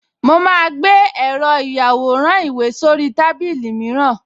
Mo máa gbé èrò ìyàwòrán-ìwé sórí tábìlì mìíràn